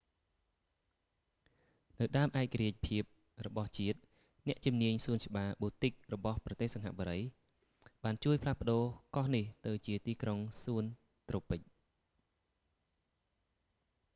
នៅដើមឯករាជ្យភាពរបស់ជាតិ អ្នកជំនាញសួនច្បារបូទិករបស់ប្រទេសសិង្ហបុរី singapore botanic gardens បានជួយផ្លាស់ប្ដូរកោះនេះទៅជាទីក្រុងសួនត្រូពិច garden city